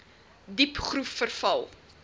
diep groef verval